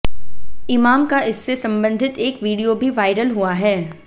इमाम का इससे संबंधित एक वीडियो भी वायरल हुआ है